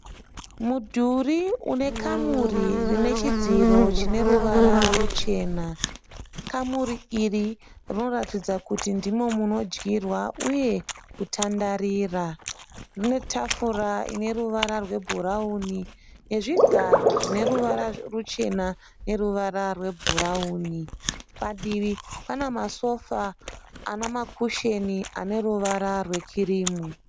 Mudhuri une kamuri rine chidziro chine ruvara ruchena. Kamuri iri rinoratidza kuti ndimo munodyirwa uye kutandarira. Mune tafura ine ruvara rwebhurawuni nezvigaro zvine ruvara ruchena neruvara rwebhurawuni. Padivi pane masofa ane makusheni ane ruvara rwekirimu.